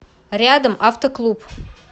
рядом авто клуб